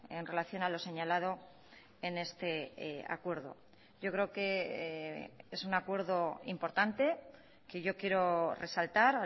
en relación a lo señalado en este acuerdo yo creo que es un acuerdo importante que yo quiero resaltar